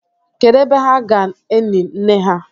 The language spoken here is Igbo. kedu ebe ha ga-eni nne ha?